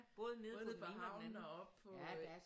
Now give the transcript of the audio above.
Både nede på havnen og oppe på